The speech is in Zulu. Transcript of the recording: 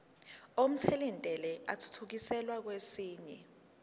omthelintela athuthukiselwa kwesinye